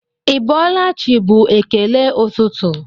Ị bọọla chi bụ ekele ụtụtụ